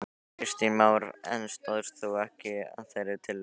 Kristján Már: En stóðst þú ekki að þeirri tillögu?